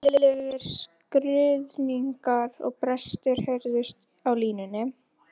Ægilegir skruðningar og brestir heyrðust á línunni.